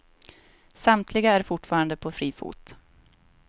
Samtliga är fortfarande på fri fot.